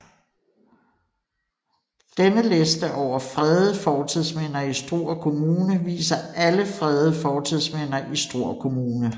Denne liste over fredede fortidsminder i Struer Kommune viser alle fredede fortidsminder i Struer Kommune